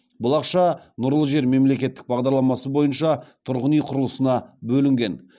бұл ақша нұрлы жер мемлекеттік бағдарламасы бойынша тұрғын үй құрылысына бөлінген